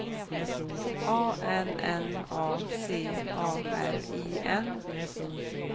A N N A C A R I N